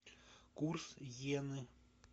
курс иены